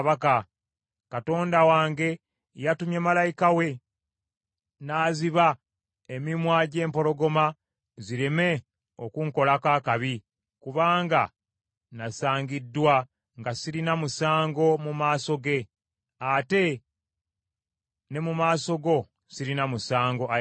Katonda wange yatumye malayika we, n’aziba emimwa gy’empologoma zireme okunkolako akabi kubanga nasangiddwa nga sirina musango mu maaso ge. Ate ne mu maaso go sirina musango, ayi kabaka.”